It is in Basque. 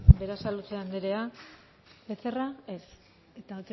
berasaluze andrea becerra ez eta